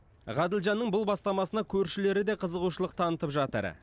ғаділжанның бұл бастамасына көршілері де қызығушылық танытып жатыр